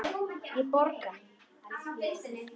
Ég borga.